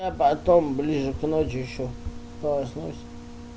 а потом ближе к ночи ещё полоснусь